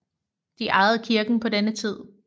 De ejede kirken på denne tid